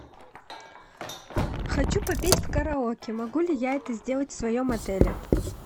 хочу попеть в караоке могу ли я это сделать в своем отеле